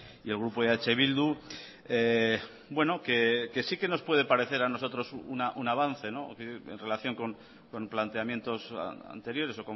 y el grupo eh bildu que sí que nos puede parecer a nosotros un avance en relación con planteamientos anteriores